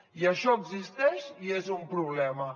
i això existeix i és un problema